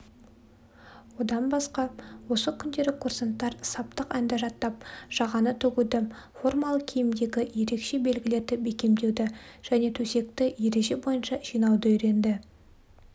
одан басқа осы күндері курсанттар саптық әнді жатап жағаны тігуді формалы киімдегі ерекше белгілерді бекемдеуді және төсекті ереже бойынша жинауды үйренді